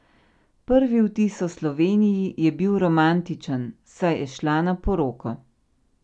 Prvi vtis o Sloveniji je bil romantičen, saj je šla na poroko.